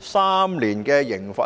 3年的監禁刑罰呢？